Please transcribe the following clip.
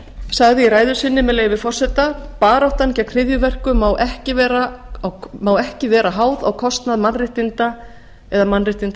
sagði í ræðu sinni með leyfi forseta baráttan gegn hryðjuverkum má ekki vera háð á kostnað mannréttinda eða